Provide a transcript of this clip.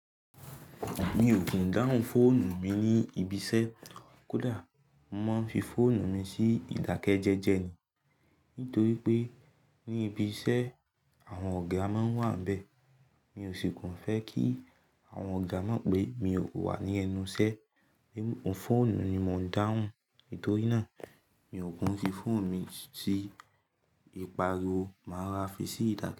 Mi ò kí ń dáhùn fóònù mi ní ibi iṣẹ́, kódà mo máa ń fi fóònù mi sí ìdákẹ́jẹ́jẹ́ ni. Nítorí pé ní ibi iṣẹ́ àwọn ọ̀gá máa n wà níbẹ̀. Mi ò sì kàn fẹ́ kí àwọn ọ̀gá mọ̀ pé mi ò wà ní ẹnu iṣẹ́. Fóònù ni mo ń dáhùn. Nítorí náà mi ò ku n fi fóònù mi sí ìparí o, màá ra fi sí ìdákẹ́jẹ́jẹ́.